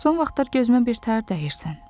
Son vaxtlar gözümə birtəhər dəyirsən.